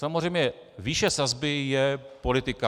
Samozřejmě výše sazby je politika.